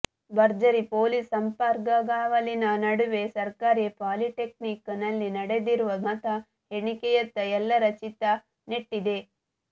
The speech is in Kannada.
ಭರ್ಜರಿ ಪೊಲೀಸ್ ಸರ್ಪಗಾವಲಿನ ನಡುವೆ ಸರ್ಕಾರಿ ಪಾಲಿಟೆಕ್ನಿಕ್ ನಲ್ಲಿ ನಡೆದಿರುವ ಮತ ಎಣಿಕೆಯತ್ತ ಎಲ್ಲರ ಚಿತ್ತ ನೆಟ್ಟಿದೆ